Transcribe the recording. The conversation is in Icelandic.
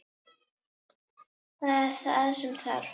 Það er það sem þarf.